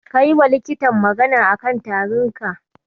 Ka yiwa likitan magana a kan tarinka?